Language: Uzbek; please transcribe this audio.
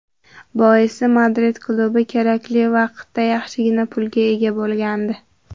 Boisi Madrid klubi kerakli vaqtda yaxshigina pulga ega bo‘lgandi.